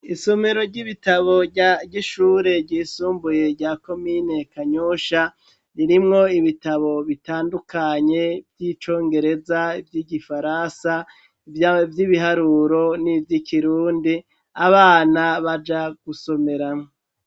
Isomero ry'ibitabo rya ryishure ryisumbuye rya ko miynekanyosha ririmwo ibitabo bitandukanye vy'icongereza vy'igifarasa ivya vy'ibiharuro n'ivyoikirundi abana baja gusomerao.